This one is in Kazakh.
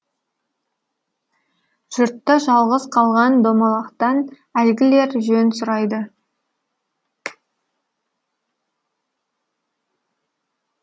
жұртта жалғыз қалған домалақтан әлгілер жөн сұрайды